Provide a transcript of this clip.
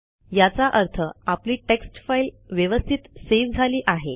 याचा अर्थ आपली टेक्स्ट फाईल व्यवस्थित सेव्ह झाली आहे